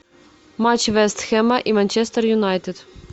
матч вест хэма и манчестер юнайтед